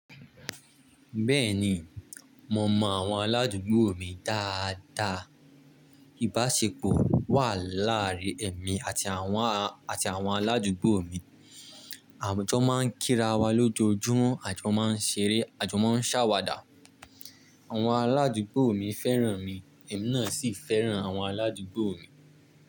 Bẹ́ẹ̀ni, mo mọ àwọn aládùúgbò mi dáa dáa. Ìbáṣepọ̀ wà láàárín èmi àti àwọn, àti àwọn aládùúgbò mi. À jọ máa ń kí ara wa lójoojúmọ́, a jọ máa ń ṣeré, a jọ máa ń ṣàwàdà. Àwọn aládùúgbò mi fẹ́ràn mi, èmi náà sì fẹ́ràn àwọn aládùúgbò mi.